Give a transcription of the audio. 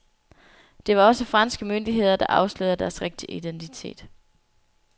Det var også franske myndigheder, der afslørede deres rigtige identitet.